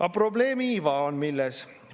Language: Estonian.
Aga probleemi iva on milles?